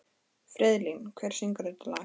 Friðlín, hver syngur þetta lag?